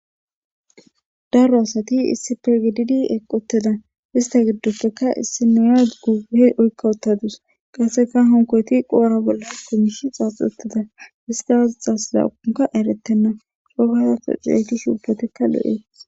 Daro asati issi pegididi eqoteda ista giddoppeka issi niyad gughe oykka uttadus qasseka honkoyti qoora bolla hakumishi xaax utteda ista azaxas laaunka eretenna sogasato ceeygish ubbatikka lo7ees